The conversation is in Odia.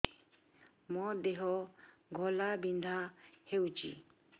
ମୋ ଦେହ ଘୋଳାବିନ୍ଧା ହେଉଛି